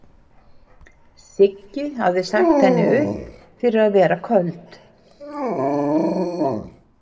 Siggi hafði sagt henni upp fyrir að vera köld.